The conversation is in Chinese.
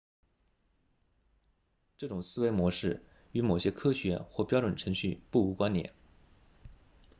这种思维模式与某些科学或标准程序不无关联